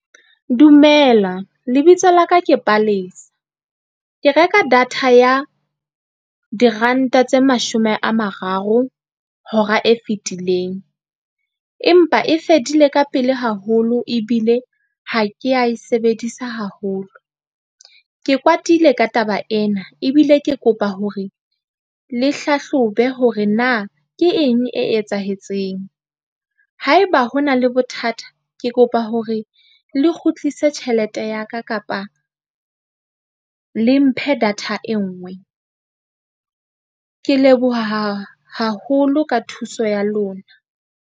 Dumela lebitso la ka ke Palesa. Ke reka data ya diranta tse mashome a mararo hora e fetileng. Empa e fedile ka pele haholo ebile ha ke a e sebedisa haholo. Ke kwatile ka taba ena ebile ke kopa hore le hlahlobe hore na ke eng e etsahetseng. Haeba ho na le bothata, ke kopa hore le kgutlise tjhelete ya ka kapa le mphe data e nngwe ke leboha haholo ka thuso ya lona.